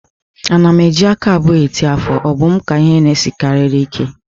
Ana m eji aka abụọ eti ọfọ, ọ bụ m ka ihe na-esinarichara ike?